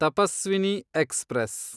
Tapaswini express